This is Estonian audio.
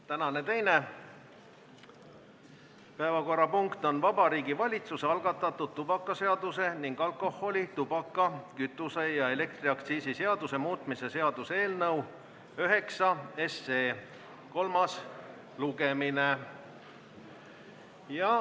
Tänane teine päevakorrapunkt on Vabariigi Valitsuse algatatud tubakaseaduse ning alkoholi-, tubaka-, kütuse- ja elektriaktsiisi seaduse muutmise seaduse eelnõu nr 9 kolmas lugemine.